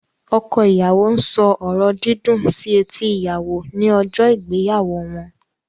Ọkọ ìyàwó ń sọ ọ̀rọ̀ dídùn sí etí ìyàwò ní ọjọ́ ìgbéyàwó wọn.